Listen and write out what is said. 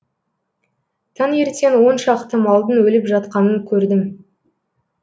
таңертең он шақты малдың өліп жатқанын көрдім